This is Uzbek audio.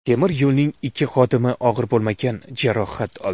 Temir yo‘lning ikki xodimi og‘ir bo‘lmagan jarohat oldi.